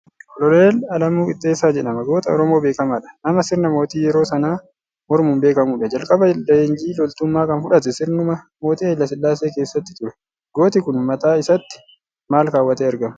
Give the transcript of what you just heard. Koloneel Alamuu Qixxeessaa jedhama. Goota Oromoo beekamaadha. Nama sirna Mootii yeroo sanaa mormuun beekamuudha. Jalqaba leenjii loltummaa kan fudhate sirnuma mootii Hayila Sillaasee keessatti ture. Gooti kun mataa isaatti maal kaawwatee argama?